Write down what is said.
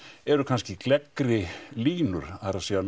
eru kannski gleggri línur það er